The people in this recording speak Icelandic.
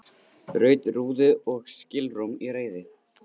Braut rúðu og skilrúm í reiði